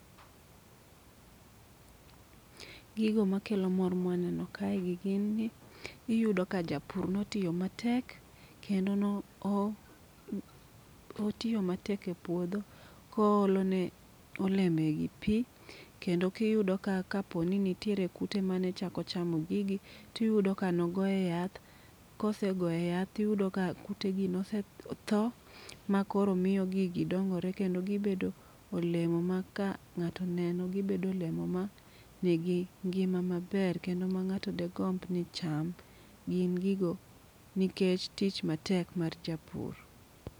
Gigo makelo mor ma waneno kae gi gin n iyudo ka japur ne otiyo matek kendo ne otiyo matek e puodho ka oolone olembegi pi kendo kiyudo kapo ni nitiere kute mane chako chamo gigi to iyudo ka ne ogoye yath kosegoye yath to iyudo ka kutegi nosetho makoro miyo gigi dongore kendo gibedo olemo maka ng'ato oneno gibedo olemo manigi ngima maber kendo ma ng'ato degomb ni ocham. Gin gigo nikech tich matek mar japur.